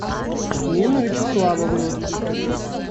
нину вячеславовну